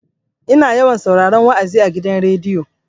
Ina yawan sauraron wa'azi a gidan rediyo.